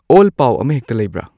all ꯄꯥꯎ ꯑꯃꯍꯦꯛꯇ ꯂꯩꯕ꯭ꯔꯥ